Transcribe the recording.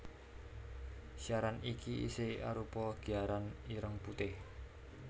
Siaran iki isih arupa giaran ireng putih